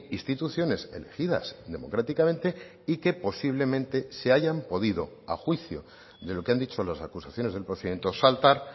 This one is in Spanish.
instituciones elegidas democráticamente y que posiblemente se hayan podido a juicio de lo que han dicho las acusaciones del procedimiento saltar